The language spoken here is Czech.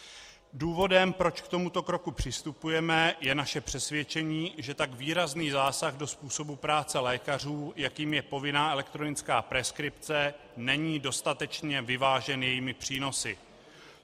Důvodem, proč k tomuto kroku přistupujeme, je naše přesvědčení, že tak výrazný zásah do způsobu práce lékařů, jakým je povinná elektronická preskripce, není dostatečně vyvážen jejími přínosy.